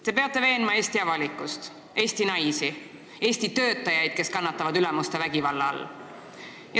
Te peate veenma Eesti avalikkust, Eesti naisi, Eesti töötajaid, kes kannatavad ülemuste vägivalla all.